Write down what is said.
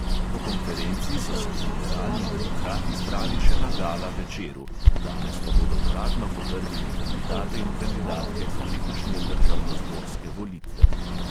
Po konferenci so se liberalni demokrati zbrali še na gala večeru, danes pa bodo uradno potrdili kandidate in kandidatke za letošnje državnozborske volitve.